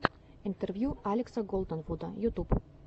интервью алекса голденвуда ютьюб